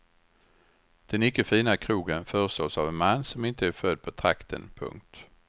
Den icke fina krogen förestås av en man som inte är född på trakten. punkt